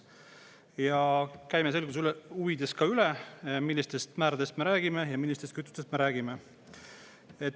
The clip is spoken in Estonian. Ja käime selguse huvides üle, millistest määradest me räägime ja millistest kütustest me räägime.